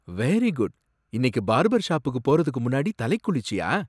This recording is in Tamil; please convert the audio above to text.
Very good! இன்னிக்கு பார்பர் ஷாப்புக்கு போறதுக்கு முன்னாடி தலை குளிச்சியா?